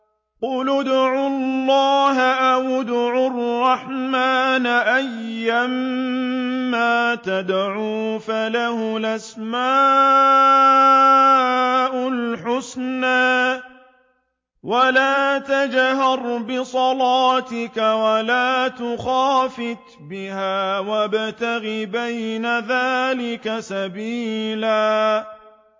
قُلِ ادْعُوا اللَّهَ أَوِ ادْعُوا الرَّحْمَٰنَ ۖ أَيًّا مَّا تَدْعُوا فَلَهُ الْأَسْمَاءُ الْحُسْنَىٰ ۚ وَلَا تَجْهَرْ بِصَلَاتِكَ وَلَا تُخَافِتْ بِهَا وَابْتَغِ بَيْنَ ذَٰلِكَ سَبِيلًا